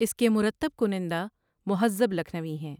اس کے مرتب کنندہ مہذب لکھنوی ہیں ۔